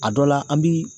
A dɔ la an bi